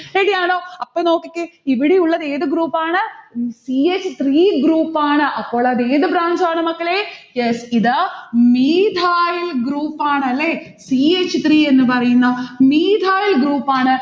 ready യാണോ? അപ്പൊ നോക്കിക്കേ ഇവിടെയുള്ളതേത് group ആണ്? c h three ആണ്. അപ്പോളത് ഏത് branch ആണ് മക്കളെ? yes ഇത് methyl group ആണ് അല്ലെ. c h three എന്ന് പറയുന്ന methyl group ആണ്.